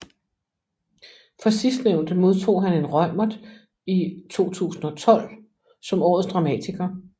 For sidstnævnte modtog han en Reumert i 2012 som årets dramatiker